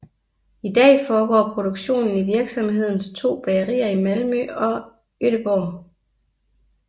I dag foregår produktionen i virksomhedens to bagerier i Malmø og Gøteborg